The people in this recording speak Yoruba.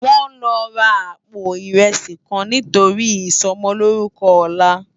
Wòn lò rá àpó irèsí kán nitóri isòmòlórùkò òlá